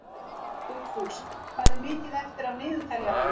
Dugfús, hvað er mikið eftir af niðurteljaranum?